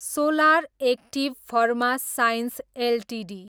solar active pharma science Ltd